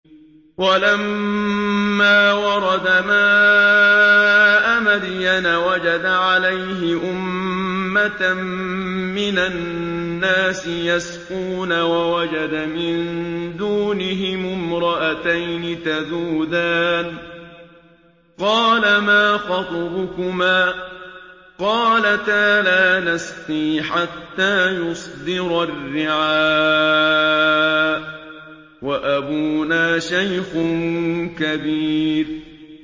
وَلَمَّا وَرَدَ مَاءَ مَدْيَنَ وَجَدَ عَلَيْهِ أُمَّةً مِّنَ النَّاسِ يَسْقُونَ وَوَجَدَ مِن دُونِهِمُ امْرَأَتَيْنِ تَذُودَانِ ۖ قَالَ مَا خَطْبُكُمَا ۖ قَالَتَا لَا نَسْقِي حَتَّىٰ يُصْدِرَ الرِّعَاءُ ۖ وَأَبُونَا شَيْخٌ كَبِيرٌ